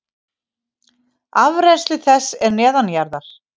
Afrennsli þess er neðanjarðar.